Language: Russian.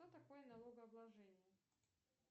что такое налогообложение